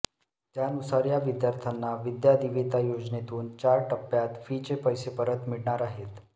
त्यानुसार या विद्यार्थ्यांना विद्या दिवेता योजनेतून चार टप्प्यात फीचे पैसे परत मिळणार आहेत